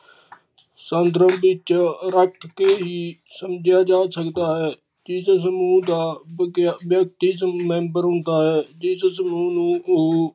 ਸਾਦਰਨ ਵਿੱਚ ਰੱਖ ਕੇ ਹੀ ਸਮਝਿਆ ਜਾ ਸਕਦਾ ਹੈ। ਕਿਸ ਸਮੂਹ ਦਾ ਵਿਅਕਤੀ member ਹੁੰਦਾ ਹੈ ਜਿਸ ਸਮੂਹ ਨੂੰ ਓ